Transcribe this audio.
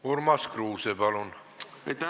Urmas Kruuse, palun!